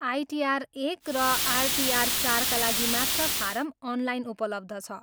ITR एक र ITR चारका लागि मात्र फारम अनलाइन उपलब्ध छ।